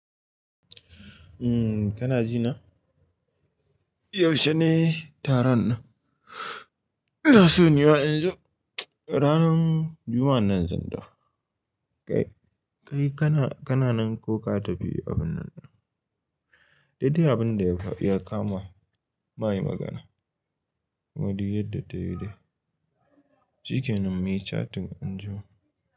Umm, kana ji na? Yaushe ne taron nan? Na so ni wa anjima. Ranar Juma'a nan izo gida. Kai, kai kana, kana nan ko ka tafi abun nan? Daidai abin da ya, ya kama. Ma yi magana. Wadi yadda ta yi dai. Shikenan muyi chatin anjima.